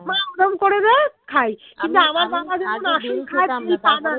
মা ওরম করে দেয় খাই কিন্তু